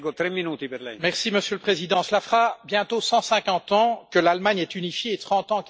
Monsieur le Président, cela fera bientôt 150 ans que l'Allemagne est unifiée et 30 ans qu'elle est réunifiée.